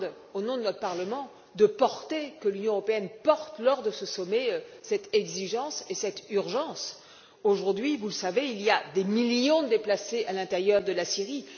Au nom de notre Parlement, je demande que l'Union européenne rappelle lors de ce sommet cette exigence et cette urgence. Aujourd'hui, vous le savez, il y a des millions de déplacés à l'intérieur de la Syrie.